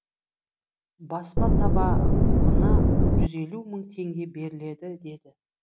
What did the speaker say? баспа табағына жүз елу мың теңге беріледі деді